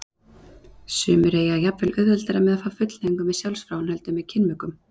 Sumir eiga jafnvel auðveldara með að fá fullnægingu með sjálfsfróun heldur en með kynmökum.